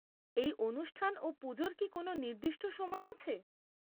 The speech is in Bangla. এই অনুষ্ঠান ও পুজোর কি কোন নির্দিষ্ট সময় আছে?